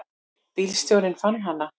Bílstjórinn fann hana.